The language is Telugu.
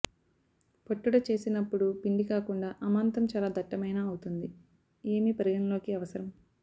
పట్టుట చేసినప్పుడు పిండి కాకుండా అమాంతం చాలా దట్టమైన అవుతుంది ఏమి పరిగణలోకి అవసరం